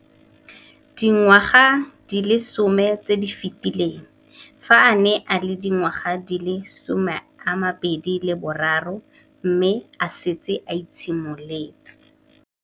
Dingwaga di le 10 tse di fetileng, fa a ne a le dingwaga di le 23 mme a setse a itshimoletse.